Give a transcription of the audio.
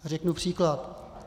Řeknu příklad.